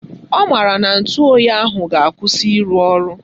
Ọ maara na ntụoyi ahụ ga-akwụsị ịrụ ọrụ